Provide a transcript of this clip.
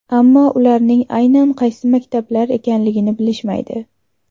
Ammo ularning aynan qaysi maktablar ekanligini bilishmaydi.